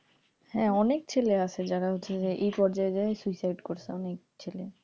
হ্যাঁ, অনেক ছেলে আছে যে যার হচ্ছে যে এই পর্যায় যায়া suicide করছে অনেক ছেলে,